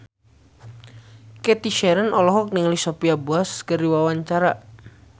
Cathy Sharon olohok ningali Sophia Bush keur diwawancara